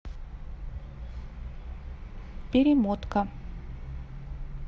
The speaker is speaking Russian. перемотка